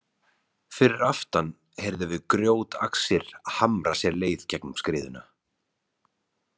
Fyrir aftan heyrðum við grjótaxir hamra sér leið í gegnum skriðuna.